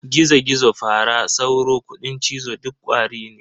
Gizo-Gizo, Fara, Sauro, Kuɗin cizo duk Ƙwari ne.